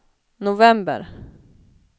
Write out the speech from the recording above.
november